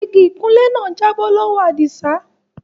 Ìgí ìkùnlẹ̀ ná jàbọ̀ lọwọ́ Adísà.